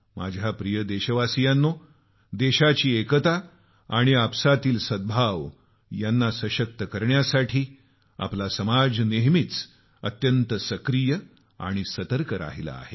माझ्या प्रिय देशवासियांनो देशाची एकता आणि आपसातील सद्भाव यांना सशक्त करण्यासाठी आमचा समाज नेहमीच अत्यंत सक्रीय आणि सतर्क राहिला आहे